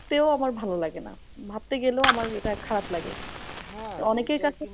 ভাবতেও আমার ভালো লাগে না। ভাবতে গেলেও আমার এটা খারাপ লাগে। অনেকের কাছে